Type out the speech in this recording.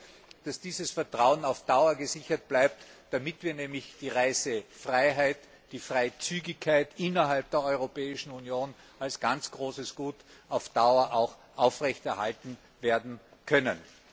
Ich hoffe, dass dieses Vertrauen auf Dauer gesichert bleibt, damit wir die Reisefreiheit, die Freizügigkeit innerhalb der Europäischen Union als ganz großes Gut auch auf Dauer werden aufrechterhalten können.